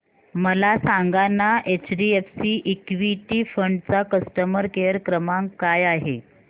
मला सांगाना HDFC equity fund चा कस्टमर केअर क्रमांक काय आहे